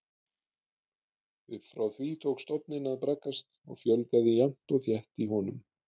Upp frá því tók stofninn að braggast og fjölgaði jafnt og þétt í honum.